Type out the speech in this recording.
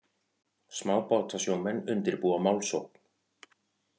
Smábátasjómenn undirbúa málsókn